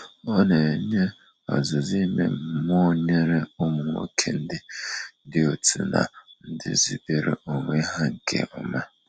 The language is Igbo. Ọ na enye ọzụzụ ime mmụọ nyere ụmụ nwoke ndị dị otu na ndị zubere onwe ha nke ọma.